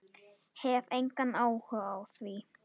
Hef engan áhuga á því.